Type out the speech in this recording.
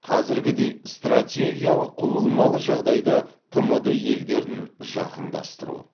қазіргідей стартегиялық құбылмалы жағдайда тмд елдерін жақындастыру